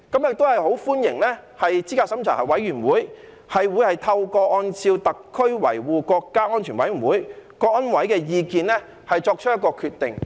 我很歡迎資審會將按照香港特別行政區維護國家安全委員會的意見作出決定。